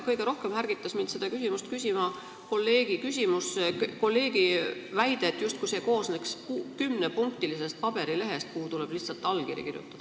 Kõige rohkem ärgitas mind küsima kolleegi väide, justkui see koolitus tähendaks paberilehte, kus on kirjas kümme punkti ja kuhu tuleb lihtsalt allkiri kirjutada.